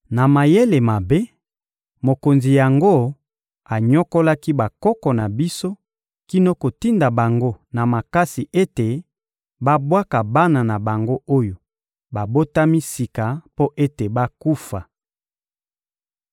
Na mayele mabe, mokonzi yango anyokolaki bakoko na biso kino kotinda bango na makasi ete babwaka bana na bango oyo babotami sika mpo ete bakufa.